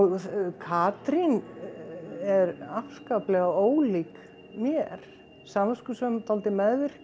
Katrín er afskaplega ólík mér samviskusöm dálítið meðvirk